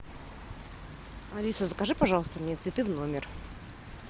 алиса закажи пожалуйста мне цветы в номер